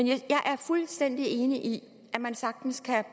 jeg er fuldstændig enig i at man sagtens kan